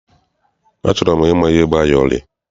Ị chọrọ ịma ihe bụ ayọrị?